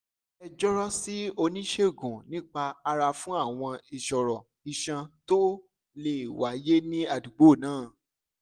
ẹ jọ̀rọ̀ sí oníṣègùn nípa ara fún àwọn ìṣòro iṣan tó lè wáyé ní àdúgbò náà